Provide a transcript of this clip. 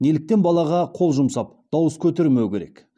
неліктен балаға қол жұмсап дауыс көтермеу керек